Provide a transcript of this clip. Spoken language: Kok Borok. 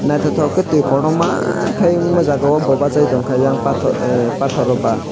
nythoktoke ke twi kotorma ke Unga jaaga o bw bachai tonka eiang ahh pathor baa.